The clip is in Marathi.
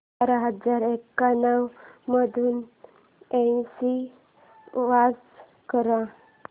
चार हजार एक्याण्णव मधून ऐंशी वजा कर